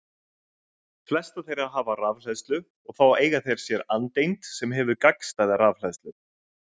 Flestar þeirra hafa rafhleðslu og þá eiga þær sér andeind sem hefur gagnstæða rafhleðslu.